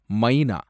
மைனா